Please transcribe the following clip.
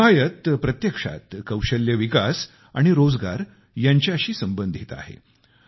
हिमायत प्रत्यक्षात कौशल्य विकास आणि रोजगार यांच्याशी संबंधित आहे